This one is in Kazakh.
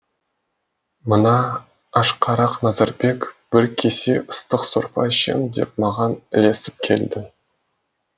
мына ашқарақ назарбек бір кесе ыстық сорпа ішемін деп маған ілесіп келді